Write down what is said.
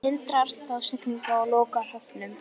Hann hindrar þá siglingar og lokar höfnum.